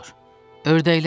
Ördəklər.